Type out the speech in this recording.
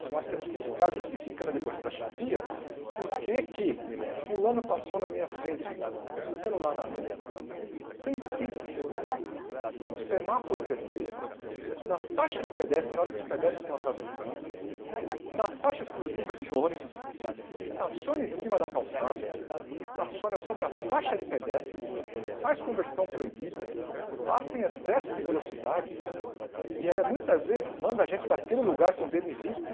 que nós temos que ficar justificando depois para a chefia porque que fulano passou na minha frente com celular na mão, sem cinto de segurança, no semáforo vermelho, na faixa de pedestre na hora que os pedestres estão atravessando, na faixa exclusiva de ônibus, estaciona em cima da calçada, estaciona sobre a faixa de pedestre, faz conversão proibida, passa em excesso de velocidade e aí muitas vezes manda a gente para aquele lugar com o dedo em riste